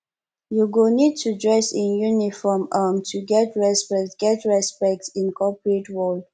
you go need to dress in uniform um to get respect get respect in a corporate world